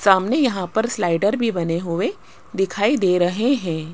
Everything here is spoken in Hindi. सामने यहां पर स्लाइडर भी बने हुएं दिखाई दे रहें हैं।